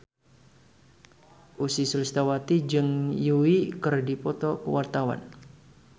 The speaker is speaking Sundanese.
Ussy Sulistyawati jeung Yui keur dipoto ku wartawan